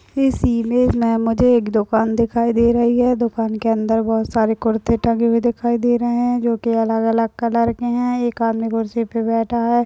इस इमेज में मुझे एक दुकान दिखाई दे रही है दुकान के अन्दर बहुत सारे कुर्ते टंगे हुये दिखाई दे रहे है जो कि अलग-अलग कलर के है एक अादमी कुर्सी पर बैठा है।